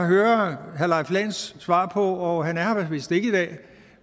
høre herre leif lahn jensens svar på han er her vist ikke i dag